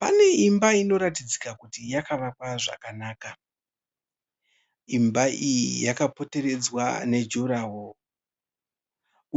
Pane imba inoratidzika kuti yakavakwa zvakanaka. Imba iyi yakapoteredzwa nejuraho